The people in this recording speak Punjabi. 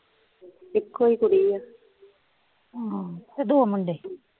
ਇੱਕੋ ਹੀ ਕੁੜੀ ਹੈ, ਹੂੰ ਅਤੇ ਦੋ ਮੁੰਡੇ